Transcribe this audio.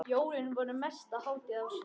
Jólin voru mesta hátíð ársins.